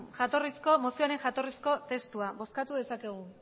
mozioaren jatorrizko testua bozkatu dezakegu